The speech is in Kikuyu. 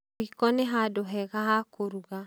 Rĩko nĩhandũ hega ha kũruga